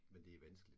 Men det vanskeligt